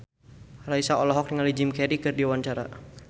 Raisa olohok ningali Jim Carey keur diwawancara